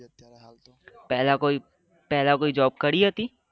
પહેલા કોઈ પહેલા કોઈ job કરી હતી?